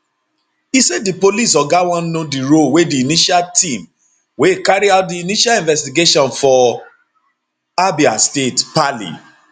e say di police oga wan know di role wey di initial team wey carry out di initial investigation for abia state paly